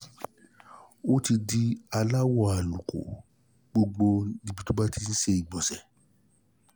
ó ti di aláwọ̀ àlùkò ní gbogbo ibi tó bá ti ń ti ń ṣe ìgbọ̀nsẹ̀